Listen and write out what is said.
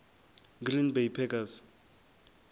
green bay packers